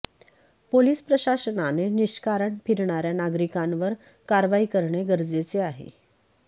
police प्रशासनाने निष्कारण फिरणाऱ्या नागरिकांवर कारवाई करणे गरजेचे आहे